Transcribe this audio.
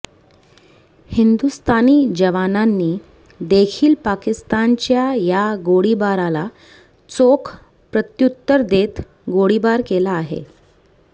हिंदुस्थानी जवानांनी देखील पाकिस्तानच्या या गोळीबाराला चोख प्रत्युत्तर देत गोळीबार केला आहे